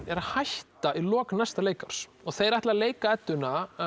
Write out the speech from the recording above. er að hætta í lok næsta leikárs þeir ætla að leika Eddu